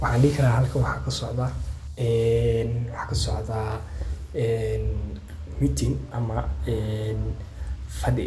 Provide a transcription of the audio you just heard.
Waxan dihi kara halkan waxa kasocda meeting ama fadi